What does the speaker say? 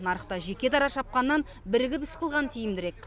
нарықта жеке дара шапқаннан бірігіп іс қылған тиімдірек